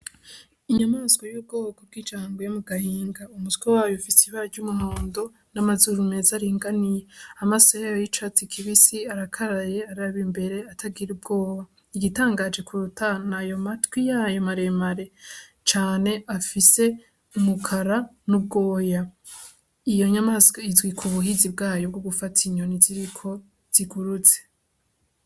Inyamaswa y'ubwoko bw'ijango yo mu gahinga umutswe wayo fise ibaryo umuhondo n'amazuru meza aringaniye amaso yayo y'icatse ikibisi arakaraye araba imbere atagira ubwoba igitangaje kuruta n' ayo matwi yayo maremare cane afise umukara n'ubwoya iyo nyamaswo izwi ku buhizi bwayo bwo gufata inyoni ziriko ziguruze.